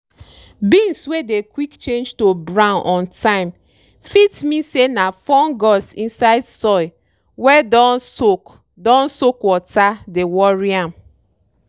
beans wey dey quick change to brown on time fit mean say na fungus inside soil wey don soak don soak water dey worry am.